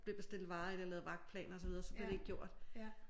Blev bestilt varer eller lavet vagtplan og så videre så blev det ikke gjort